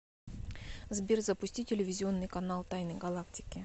сбер запусти телевизионный канал тайны галактики